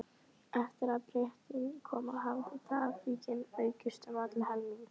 Eftir að Bretinn kom hafði traffíkin aukist um allan helming.